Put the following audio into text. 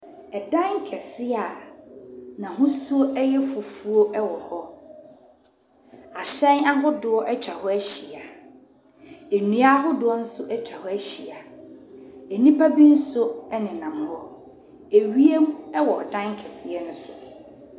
ℇdan kɛseɛ a n’ahosuo yɛ fufuo wɔ hɔ. Ahyɛn ahodoɔ atwa hɔ ahyia. Nnua ahodoɔ nso atwa hɔ ahyia. Nnipa bi nso nenam hɔ. Ewiem nso wɔ dan kɛseɛ no so.